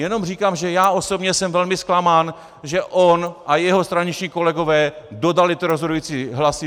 Jenom říkám, že já osobně jsem velmi zklamán, že on a jeho straničtí kolegové dodali ty rozhodující hlasy.